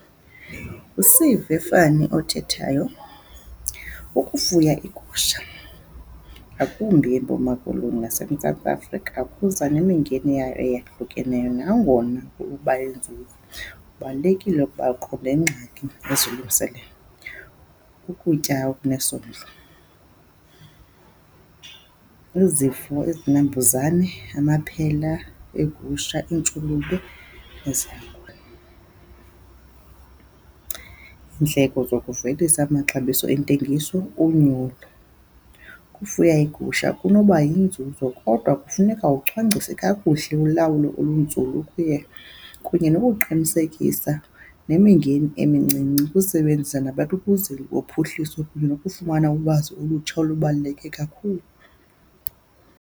othethayo. Ukufuya iigusha ngakumbi eMpuma Koloni naseMzantsi Afrika kuza nemingeni yayo eyahlukeneyo nangona kukuba yinzuzo. Kubalulekile ukuba qho nengxaki ezilungiselele. Ukutya okunesondlo. Izifo, izinambuzane, amaphela, iigusha, iintshulube . Iindleko zokuvelisa amaxabiso entengiso, unyulo. Ukufuya iigusha kunoba yinzuzo kodwa kufuneka ucwangcise kakuhle ulawulo olunzulu kunye nokuqinisekisa nemingeni emincinci ukusebenzisa nabaququzeli bophuhliso kunye nokufumana ulwazi olutsha olubaluleke kakhulu.